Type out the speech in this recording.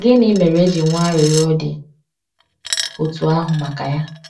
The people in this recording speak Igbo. Gịnị mere e ji nwee arịrịọ dị otú ahụ maka ya?